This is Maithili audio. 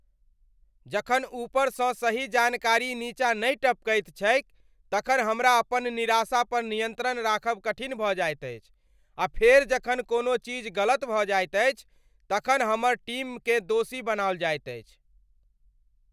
जखन ऊपरसँ सही जानकारी नीचाँ नहि टपकैत छैक तखन हमरा अपन निराशा पर नियन्त्रण राखब कठिन भऽ जाइत अछि आ फेर जखन कोनोचीज गलत भऽ जाइत अछि तखन हमर टीमकेँ दोषी बनाओल जाइत अछि।